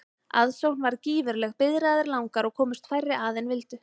Aðsókn varð gífurleg, biðraðir langar og komust færri að en vildu.